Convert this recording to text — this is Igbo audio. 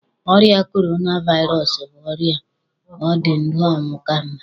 Ọrịa korona vairọsụ bụ ọrịa ọ dị ndụ ọnwụ ka mma.